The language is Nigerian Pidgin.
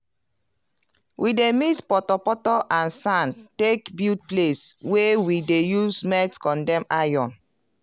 we dey mix poto poto and sand take build place wey we dey use melt condem iron.